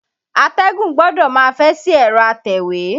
Atẹ́gùn gbọdọ̀ máa fẹ́ sí ẹ̀rọ atẹ̀wé.